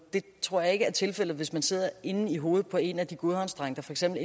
tror jeg ikke ville være tilfældet hvis man sad inde i hovedet på en af de godhavnsdrenge der for eksempel